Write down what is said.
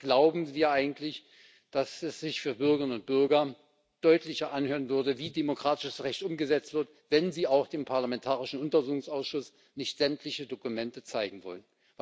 Glauben wir eigentlich, dass es sich für die Bürgerinnen und Bürger deutlicher danach anhört, dass demokratisches Recht umgesetzt wird, wenn Sie auch dem parlamentarischen Untersuchungsausschuss nicht sämtliche Dokumente zeigen wollen?